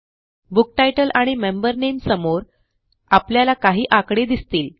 book titles आणि member नामे समोर आपल्याला काही आकडे दिसतील